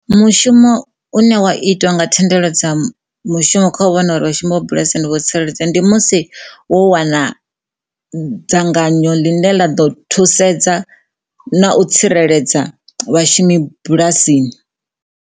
Mushumo une wa itwa nga thendelo dza mushumo kha u vhona uri mushumo wa bulasini wo tsireledzea ndi musi wo wana dzanganyo ḽine ḽa ḓo thusedza na u tsireledza vhashumi bulasini.